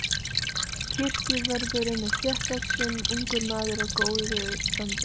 Kirkjuvörðurinn er þéttvaxinn ungur maður af góðu standi.